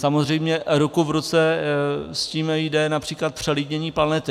Samozřejmě ruku v ruce s tím jde například přelidnění planety.